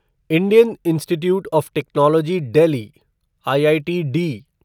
Indian institute of technology Delhi IITD